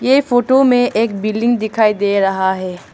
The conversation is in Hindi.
ये फोटो में एक बिल्डिंग दिखाई दे रहा है।